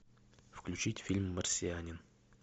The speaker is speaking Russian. включить фильм марсианин